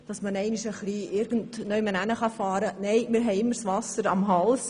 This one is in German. Uns steht das Wasser immer bis zum Hals.